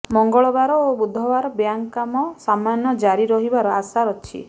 ମଙ୍ଗଳବାର ଓ ବୁଧବାର ବ୍ୟାଙ୍କ କାମ ସାମାନ୍ୟ ଜାରି ରହିବାର ଆଶା ଅଛି